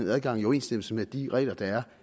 adgang i overensstemmelse med de regler der er